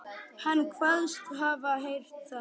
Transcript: Hann kvaðst hafa heyrt að